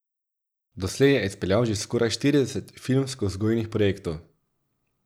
Doslej je izpeljal že skoraj štirideset filmskovzgojnih projektov.